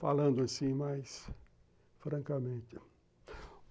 Falando assim mais francamente.